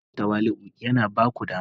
Kasancewa tawali'u yana ba ku dama